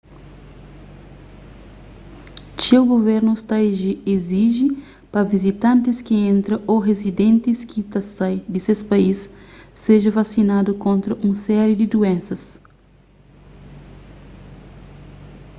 txeu guvernus ta iziji pa vizitantis ki entra ô rizidentis ki ta sai di ses país seja vasinadu kontra un série di duénsas